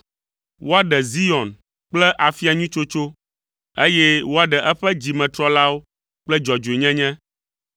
Woaɖe Zion kple afia nyui tsotso, eye woaɖe eƒe dzimetrɔlawo kple dzɔdzɔenyenye.